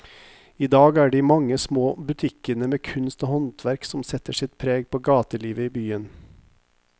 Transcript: I dag er det de mange små butikkene med kunst og håndverk som setter sitt preg på gatelivet i byen.